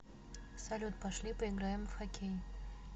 салют пошли поиграем в хоккей